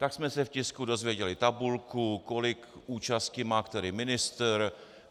Tak jsme se v tisku dozvěděli tabulku, kolik účasti má který ministr.